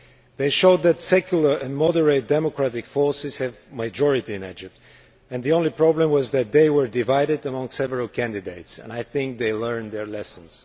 They showed that secular and moderate democratic forces have a majority in Egypt. The only problem was that they were divided among several candidates, and I think they have learned their lessons.